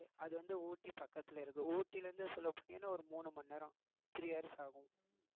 அது வந்து ஊட்டி பக்கத்துல இருக்கு ஊட்டியிலிருந்து சொல்ல போனீங்கன்னா ஒரு மூணு மணி நேரம் three hours ஆகும்